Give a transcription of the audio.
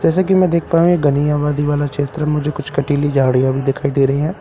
जैसा कि मैं देख पाया हूं यह घनी आबादी वाला क्षेत्र है मुझे कुछ कंटीली झाड़ियां भी दिखाई दे रही है कु --